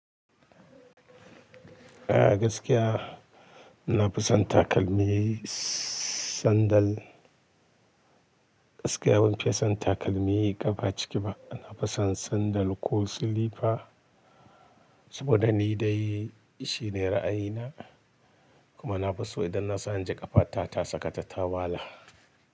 A gaskiya ina fison takalmi sandal. Gaskiya ban fiye son takalmi ƙafa ciki ba. Na fison sandal ko silifa saboda ni dai shi ne ra'ayina. Kuma na fi so idan na sani ƙafa ta, ta sakata ta wala.